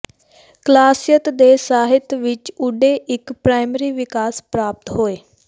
ਕਲਾਸੀਅਤ ਦੇ ਸਾਹਿਤ ਵਿੱਚ ਓਡੇ ਇੱਕ ਪ੍ਰਾਇਮਰੀ ਵਿਕਾਸ ਪ੍ਰਾਪਤ ਹੋਏ